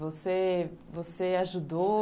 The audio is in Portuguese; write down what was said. Você você ajudou?